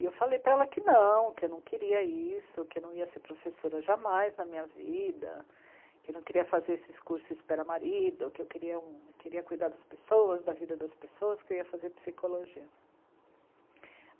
E eu falei para ela que não, que eu não queria isso, que eu não ia ser professora jamais na minha vida, que eu não queria fazer esses cursos espera marido, que eu queria um, queria cuidar das pessoas, da vida das pessoas, que eu ia fazer psicologia.